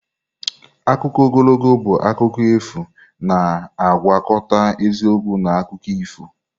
Akụkọ ogologo bụ akụkọ efu na-agwakọta eziokwu na akụkọ ifo.